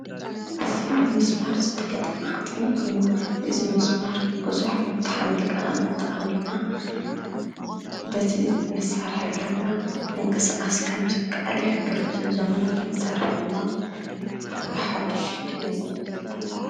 እዝ ብምስማር ዝተገጠመ ሓፂን ኴይኑ እዝ ምስማር ብዙሕ መብታሕ መልቀቕን እንተኣውና በቲ መሣርሒ ገርና እንቂሥኣስ ከም ስከኣል ሕብር እዝ ዘመናዊ መሣርሒ ድማ ብሓድሽ ተክኖሎጂ ዝተሰርሐ።